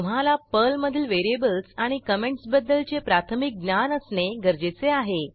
तुम्हाला पर्लमधील व्हेरिएबल्स आणि कॉमेंटसबद्दलचे प्राथमिक ज्ञान असणे गरजेचे आहे